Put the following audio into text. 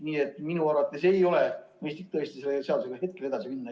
Nii et minu arvates ei ole mõistlik selle seadusega hetkel edasi minna.